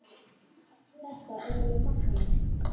Þetta er alveg magnað.